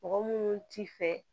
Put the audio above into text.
Mɔgɔ munnu t'i fɛ